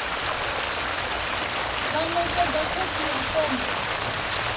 vha ṋekedze khophi ya fomo